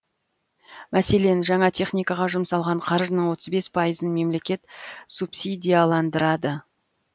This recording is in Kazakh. мәселен жаңа техникаға жұмсалған қаржының отыз бес пайызын мемлекет субсидияландырады